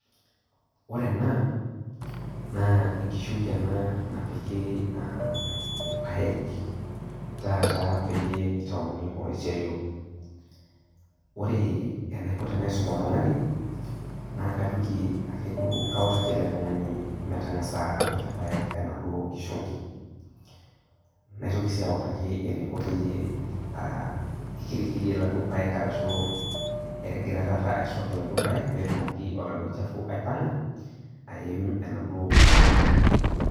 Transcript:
Ore ena naa enkishungi enabnapiki irpaek, taata peyie itauni oloiterio ,ore anaiko tanaisum oltungani nakajoki ake kautaki eletungani metangasa apik irpaek enaduo kishungi ,naitoki si auttaki eniko tenikirikirie laduo paek egira aisuak laduo paek petumoki oladuo shafu aipanga aim enaduo kishungi.